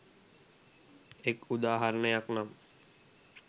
එක් උදාහරණයක් නම්